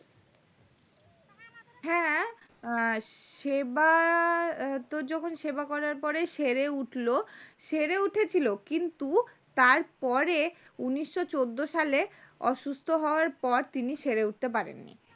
হ্যাঁ সেবা তোর যখন সেবা করার পর সেরে উঠলো সেরে উঠেছিল কিন্তু তারপরে উনিশশো চোদ্দ সালে অসুস্থ হওয়ার পর তিনি সেরে উঠতে পারেননি